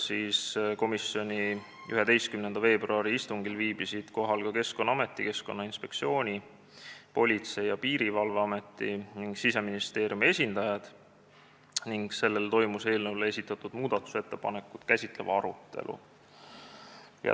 Komisjoni 11. veebruari istungil viibisid kohal ka Keskkonnaameti, Keskkonnainspektsiooni, Politsei- ja Piirivalveameti ning Siseministeeriumi esindajad ning toimus eelnõu kohta esitatud muudatusettepanekuid käsitlev arutelu.